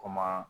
Ko maa